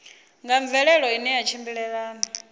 nga mvelelo ine ya tshimbilelana